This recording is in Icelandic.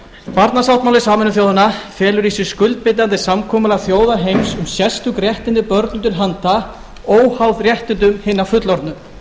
barnasáttmáli sameinuðu þjóðanna felur í sér skuldbindandi samkomulag þjóða heims um sérstök réttindi börnum til handa óháð réttindum hinna fullorðnu